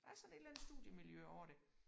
Der er sådan et eller andet studiemiljø over det